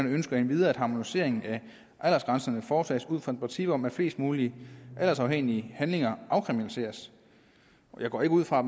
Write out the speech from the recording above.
ønsker endvidere at harmoniseringen af aldersgrænserne foretages ud fra et princip om at flest mulige aldersafhængige handlinger afkriminaliseres jeg går ikke ud fra